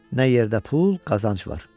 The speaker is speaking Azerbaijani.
Nə yerdə pul, qazanc var.